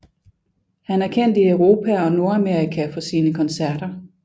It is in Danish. Han er kendt i Europa og Nordamerika for sine koncerter